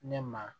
Ne ma